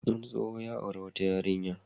Wani tsoho ya auri wata yarinya.